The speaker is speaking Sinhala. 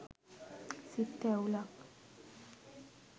සිත් තැවුලක්